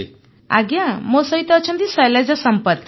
ଅପର୍ଣ୍ଣା ଆଜ୍ଞା ମୋ ସହିତ ଅଛନ୍ତି ଶୈଳଜା ସମ୍ପତ୍